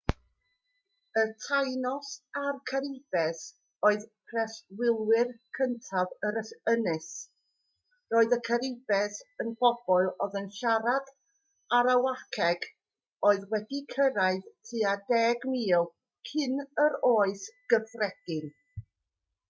y taínos a'r caribes oedd preswylwyr cyntaf yr ynys roedd y caribes yn bobl oedd yn siarad arawakeg oedd wedi cyrraedd tua 10,000 cyn yr oes gyffredin